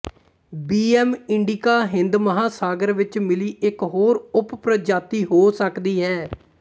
B ਐਮ ਇੰਡੀਕਾ ਹਿੰਦ ਮਹਾਂਸਾਗਰ ਵਿੱਚ ਮਿਲੀ ਇੱਕ ਹੋਰ ਉਪਪ੍ਰਜਾਤੀ ਹੋ ਸਕਦੀ ਹੈ